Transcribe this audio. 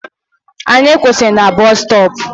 Anyị kwụsịrị na busutopu